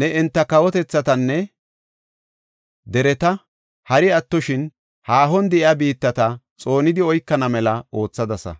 Ne enta kawotethatanne dereta hari attoshin haahon de7iya biittata xoonidi oykana mela oothadasa.